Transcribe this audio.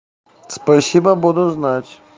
спасибо буду знать